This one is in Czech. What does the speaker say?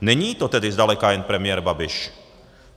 Není to tedy zdaleka jen premiér Babiš.